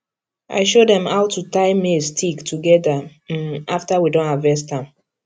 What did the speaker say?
i show dem how to tie maize stick together um after we don harvest am